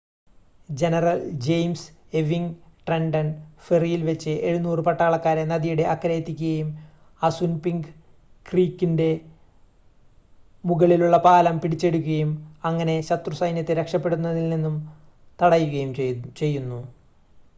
general James Ewing Trenton ഫെറിയിൽ വെച്ച് 700 പട്ടാളക്കാരെ നദിയുടെ അക്കരെ എത്തിക്കുകയും അസുൻപിങ്ക് ക്രീക്കിൻറ്റെ മുകളിലുള്ള പാലം പിടിച്ചെടുക്കുകയും അങ്ങനെ ശത്രു സൈന്യത്തെ രക്ഷപ്പെടുന്നതിൽ നിന്നും തടയുകയും ചെയ്യുന്നു